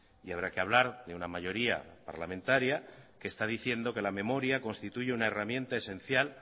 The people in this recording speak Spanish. y habrá que hablar de una mayoría parlamentaria que está diciendo que la memoria constituye una herramienta esencial